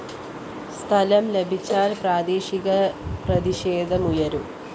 സ്ഥലം ലഭിച്ചാല്‍ പ്രാദേശിക പ്രതിഷേധങ്ങളുയരും